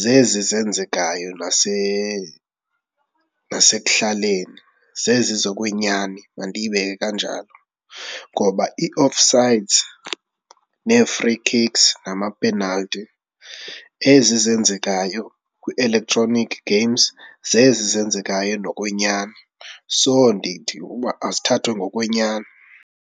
zezi zenzekayo nasekuhlaleni, zezi zokwenyani mandiyibeke kanjalo. Ngoba ii-off sides nee-free kicks namapenalthi ezi zenzekayo kwi-electronic games, zezi zenzekayo ngokwenyani. So ndithi uba azithathwe ngokwenyani.